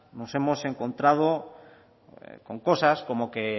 nos hemos encontrado con cosas como que